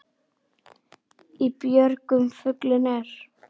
Í björgum fuglinn er.